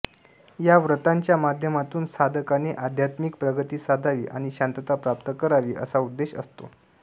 या व्रताच्या माध्यमातून साधकाने आध्यात्मिक प्रगती साधावी आणि शांतता प्राप्त करावी असा उद्देश असतो